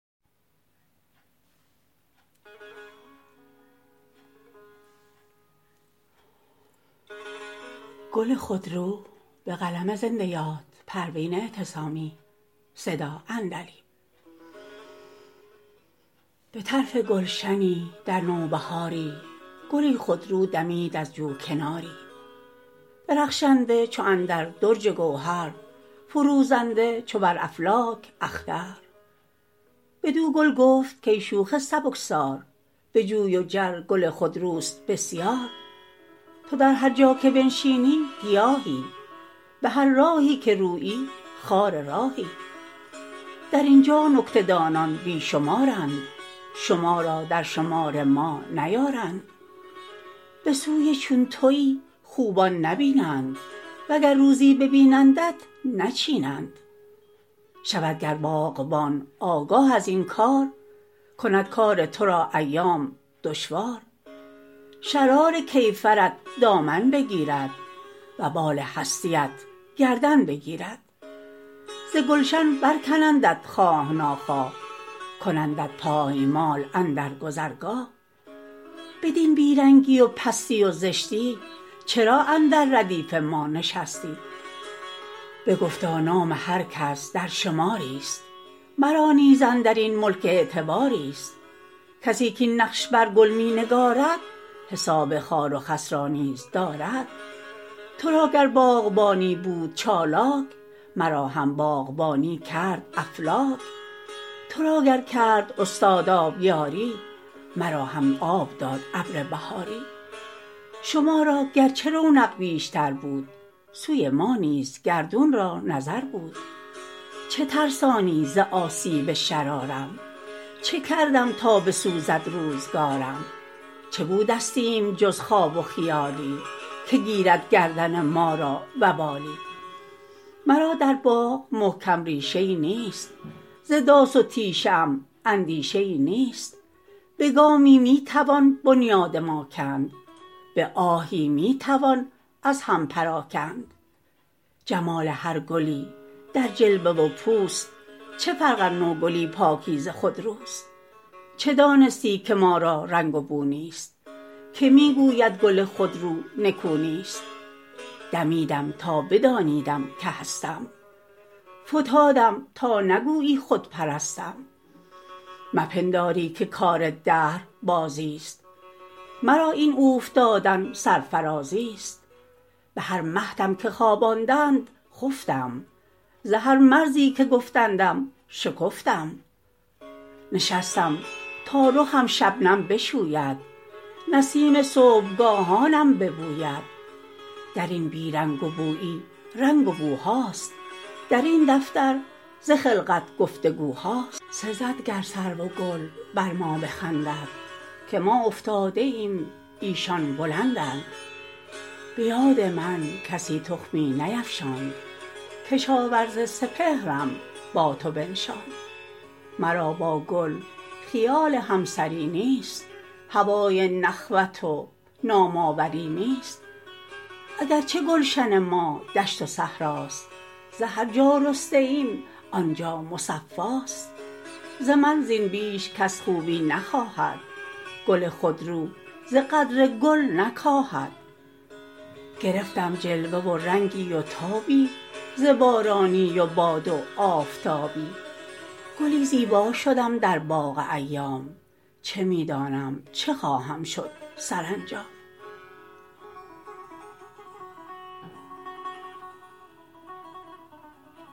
بطرف گلشنی در نوبهاری گلی خودرو دمید از جو کناری درخشنده چو اندر درج گوهر فروزنده چو بر افلاک اختر بدو گل گفت کای شوخ سبکسار بجوی و جر گل خودروست بسیار تو در هر جا که بنشینی گیاهی بهر راهی که رویی خار راهی در اینجا نکته دانان بی شمارند شما را در شمار ما نیارند بسوی چون تویی خوبان نبینند وگر روزی ببینندت نچینند شود گر باغبان آگاه ازین کار کند کار ترا ایام دشوار شرار کیفرت دامن بگیرد وبال هستیت گردن بگیرد ز گلشن بر کنندت خواه ناخواه کنندت پایمال اندر گذرگاه بدین بی رنگی و پستی و زشتی چرا اندر ردیف ما نشستی بگفتا نام هر کس در شماری است مرا نیز اندرین ملک اعتباری است کس کاین نقش بر گل مینگارد حساب خار و خس را نیز دارد ترا گر باغبانی بود چالاک مرا هم باغبانی کرد افلاک ترا گر کرد استاد آبیاری مرا هم آب داد ابر بهاری شما را گرچه رونق بیشتر بود سوی ما نیز گردون را نظر بود چه ترسانی ز آسیب شرارم چه کردم تا بسوزد روزگارم چه بودستیم جز خواب و خیالی که گیرد گردن ما را وبالی مرا در باغ محکم ریشه ای نیست ز داس و تیشه ام اندیشه ای نیست بگامی میتوان بنیاد ما کند بهی میتوان از هم پراکند جمال هر گلی در جلوه و پوست چه فرق ار نو گلی پاکیزه خودروست چه دانستی که ما را رنگ و بو نیست که میگوید گل خودرو نکونیست دمیدم تا بدانیدم که هستم فتادم تا نگویی خودپرستم مپنداری که کار دهر بازیست مرا این اوفتادن سرفرازیست بهر مهدم که خواباندند خفتم ز هر مرزی که گفتندم شکفتم نشستم تا رخم شبنم بشوید نسیم صبحگاهانم ببوید درین بی رنگ و بویی رنگ و بوهاست درین دفتر ز خلقت گفتگوهاست سزد گر سرو و گل بر ما بخندند که ما افتاده ایم ایشان بلندند بیاد من کسی تخمی نیفشاند کشاورز سپهرم با تو بنشاند مرا با گل خیال همسری نیست هوای نخوت و نام آوری نیست اگرچه گلشن ما دشت و صحراست ز هر جا رسته ایم آنجا مصفاست ز من زین بیش کس خوبی نخواهد گل خودرو ز قدر گل نکاهد گرفتم جلوه و رنگی و تابی ز بارانی و باد و آفتابی گلی زیبا شدم در باغ ایام چه میدانم چه خواهم شد سرانجام